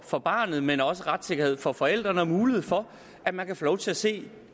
for barnet men også retssikkerhed for forældrene og mulighed for at man kan få lov til at se